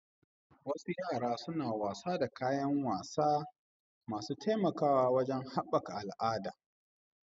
Wasu yara suna wasa da wasa suna taimakawa wajen haɓaka al'adu da al'ada